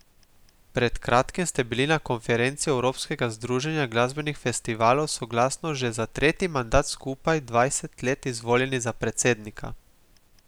Pred kratkim ste bili na konferenci Evropskega združenja glasbenih festivalov soglasno že za tretji mandat skupaj dvanajst let izvoljeni za predsednika.